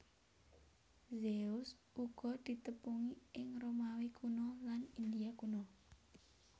Zeus uga ditepungi ing Romawi Kuna lan India kuna